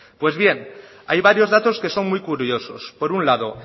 pues bien hay varios datos que son muy curiosos por un lado